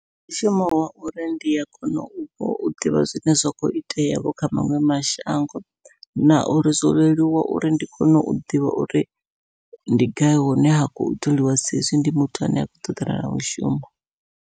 Ndi mushumo wa uri ndi a kona u ḓivha zwine zwa kho itea vho kha maṅwe mashango, na uri zwo leluwa uri ndi kone u ḓivha uri ndi gai hune ha khou tholiwa sa hezwi ndi muthu ane a khou ṱoḓana na mushumo.